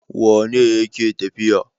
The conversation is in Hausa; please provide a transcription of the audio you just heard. Wane ne yake tafiya?